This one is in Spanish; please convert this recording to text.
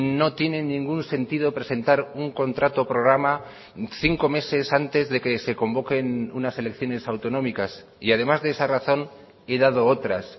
no tiene ningún sentido presentar un contrato programa cinco meses antes de que se convoquen unas elecciones autonómicas y además de esa razón he dado otras